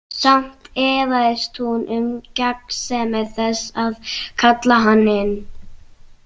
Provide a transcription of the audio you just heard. Samt efaðist hún um gagnsemi þess að kalla hann inn.